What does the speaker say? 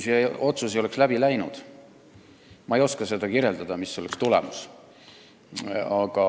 Ma ei oska välja pakkuda, mis olnuks tagajärg, kui see otsus ei oleks läbi läinud.